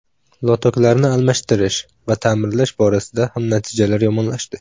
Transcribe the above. Lotoklarni almashtirish va ta’mirlash borasida ham natijalar yomonlashdi.